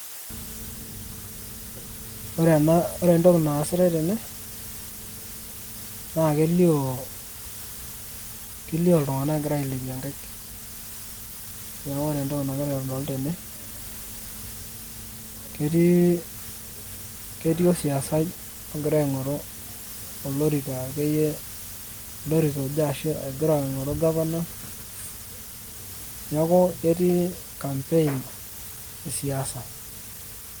Ore ena ore entoki naasitai tene, naa kelio iltung'anak egira ailepie nkaik. Neeku ore entoki nagira aitodolu tene, ketii osiasai ogira aing'oru olorika akeyie ashu olorika aing'oru gavana, neeku ketii campaign esiasa.